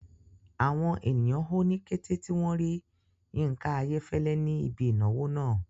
Àwọn ènìyàn hó ní kété tí wọn rí Yinka Ayefele ní ibi ìnáwó náà.